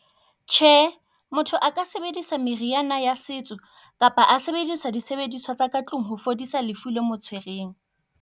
Tjhe, motho aka sebedisa meriana ya setso kapa a sebedisa disebediswa tsa ka tlung ho fodisa lefu le mo tshwereng.